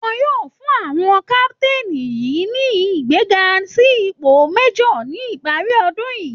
Wọ́n yóò fún àwọn captain yìí ní ìgbéga sí ipò májor ní ìparí ọdún yìí